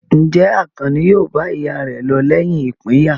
Ǹjẹ́ Àkànní yóò bá ìyá rẹ̀ lọ lẹ́yìn ìpínyà?